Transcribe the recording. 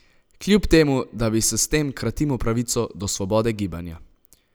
Kljub temu, da bi si s tem kratimo pravico do svobode gibanja?